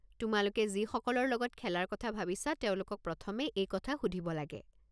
তোমালোকে যিসকলৰ লগত খেলাৰ কথা ভাবিছা তেওঁলোকক প্ৰথমে এই কথা সুধিব লাগে।